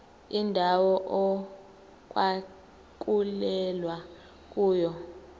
indawo okwakulwelwa kuyona